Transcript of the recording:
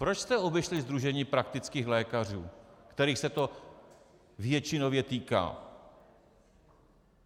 Proč jste obešli Sdružení praktických lékařů, kterých se to většinově týká?